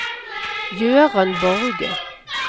Gøran Borge